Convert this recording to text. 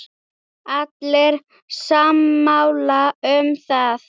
Allir sammála um það.